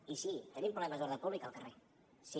i sí tenim problemes d’ordre públic al carrer sí